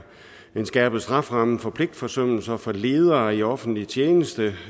en skærpet strafferamme for pligtforsømmelse for ledere i offentlig tjeneste